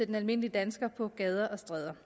den almindelige dansker på gader og stræder